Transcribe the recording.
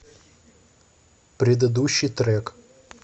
предыдущий трек